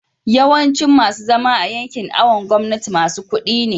yawancin masu zama a yankin awon gomnati masu kudi ne